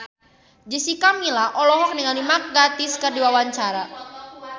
Jessica Milla olohok ningali Mark Gatiss keur diwawancara